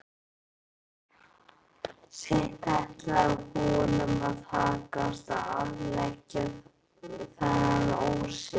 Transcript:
Seint ætlaði honum að takast að afleggja þennan ósið.